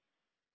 thank you